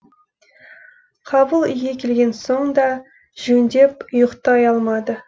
қабыл үйге келген соң да жөндеп ұйықтай алмады